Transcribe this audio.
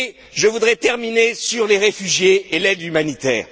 Je voudrais terminer sur les réfugiés et l'aide humanitaire.